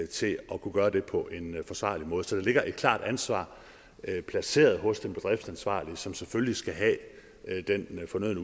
til at kunne gøre det på en forsvarlig måde så der ligger et klart ansvar placeret hos den bedriftansvarlige som selvfølgelig skal have den